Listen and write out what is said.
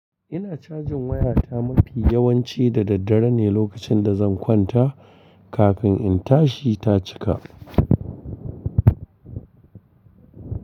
Ina cajin wayata mafi yawanci da daddare ne lokacin da zan kwanta kafin in tashi ta cika.